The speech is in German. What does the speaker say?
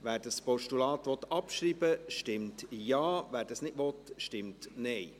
Wer dieses Postulat abschreiben will, stimmt Ja, wer dies nicht will, stimmt Nein.